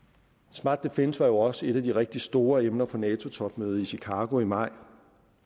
smart defence var jo også et af de rigtig store emner på nato topmødet i chicago i maj